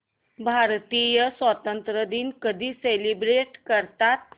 भारतीय स्वातंत्र्य दिन कधी सेलिब्रेट करतात